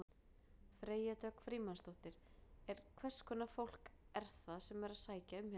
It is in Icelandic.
Freyja Dögg Frímannsdóttir: En hverskonar fólk er það sem er að sækja hérna um?